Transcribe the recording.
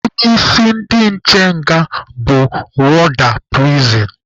Onye isi ndị nche nga bụ wọọda pirisin.